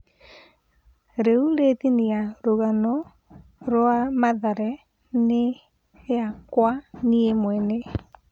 "Rĩu rĩ thĩiniĩ ya rũgano rwa Mathare na yakwa niĩ mwene."